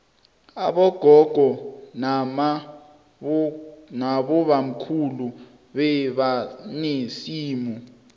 abogogo namabokhulu bebanesimu